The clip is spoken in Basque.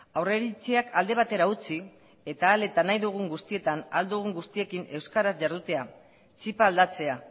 aurreiritziak alde batera utzi eta ahal eta nahi dugun guztietan ahal dugun guztiekin euskaraz jardutea txipa aldatzea